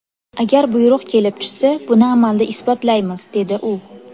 Agar buyruq kelib tushsa, buni amalda isbotlaymiz”, dedi u.